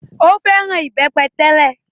Ó fẹ́ràn ìbẹ́pẹ tẹ́lẹ̀.